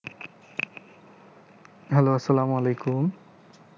hello আসসালামু আলাইকুম